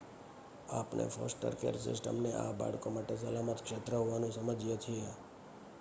આપણે foster care સિસ્ટમને આ બાળકો માટે સલામત ક્ષેત્ર હોવાનું સમજીએ છીએ